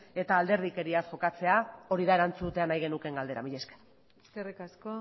eta alderdikeriaz jokatzea hori da erantzutea nahi genukeen galdera mila esker eskerrik asko